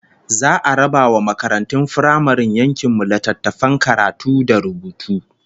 Za'a raba wa makaratun firamaren yankin mu littattafan karatu da rubutu